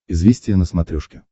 известия на смотрешке